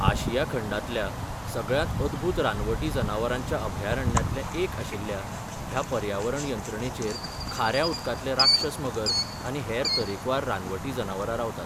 आशिया खंडांतल्या सगळ्यांत अदभूत रानवटी जनावरांच्या अभयारण्यांतलें एक आशिल्ल्या ह्या पर्यावरण यंत्रणेचेर खाऱ्या उदकांतले राक्षस मगर आनी हेर तरेकवार रानवटी जनावरां रावतात.